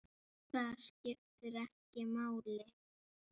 Það skiptir ekki máli.